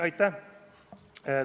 Aitäh!